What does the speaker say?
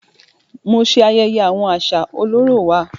Mo ṣe ayẹyẹ awọn aṣa ọlọrọ wà.